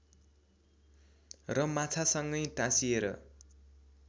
र माछासँगै टाँसिएर